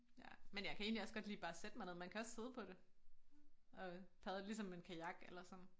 Ja men jeg kan egentlig også godt lide bare at sætte mig ned man kan også sidde på det og padle ligesom en kajak eller sådan